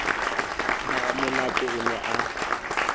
ha ramonate o ne a